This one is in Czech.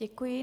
Děkuji.